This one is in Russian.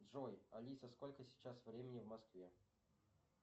джой алиса сколько сейчас времени в москве